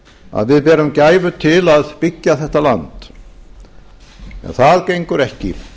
að við berum gæfu til að byggja þetta land ef það gengur ekki